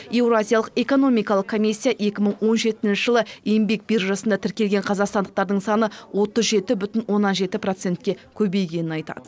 еуразиялық экономикалық комиссия екі мың он жетінші жылы еңбек биржасына тіркелген қазақстандықтардың саны отыз жеті бүтін оннан жеті процентке көбейгенін айтады